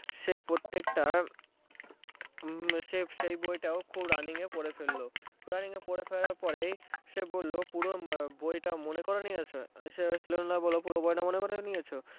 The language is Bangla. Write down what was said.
সে প্রত্যেকটা সে সেই বইটাও সে খুব running এ পড়ে ফেললো running এ পড়ে ফেল্মার পরে সে বললো সে বই পুরোটা মনে করে নিয়েছে সেই সেলুন ওয়ালা বললো পুরো বইটা মনে করে নিয়েছো